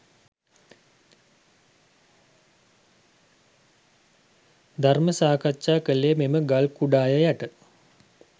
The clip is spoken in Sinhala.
ධර්ම සාකච්ඡා කළේ මෙම ගල් කුඩාය යට